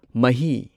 ꯃꯍꯤ